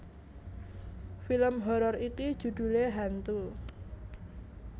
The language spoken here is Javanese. Film horor iki judhulé Hantu